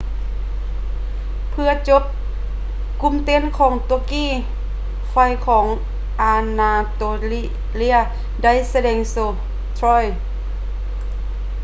ເພື່ອຈົບ ກຸ່ມເຕັ້ນຂອງຕວກກີ ໄຟຂອງອານາໂຕເລຍ ໄດ້ສະແດງໂຊ troy